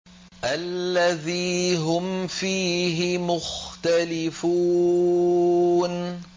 الَّذِي هُمْ فِيهِ مُخْتَلِفُونَ